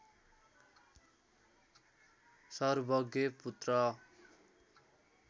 सर्वज्ञ पुत्र